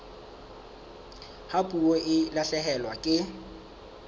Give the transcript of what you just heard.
ha puo e lahlehelwa ke